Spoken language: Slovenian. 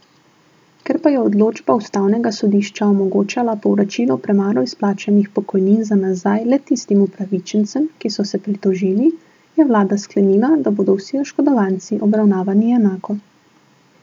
Ker pa je odločba ustavnega sodišča omogočala povračilo premalo izplačanih pokojnin za nazaj le tistim upravičencem, ki so se pritožili, je vlada sklenila, da bodo vsi oškodovanci obravnavani enako.